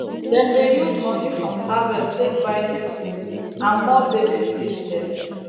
dem dey use moni from harvest take buy new food and more baby fish dem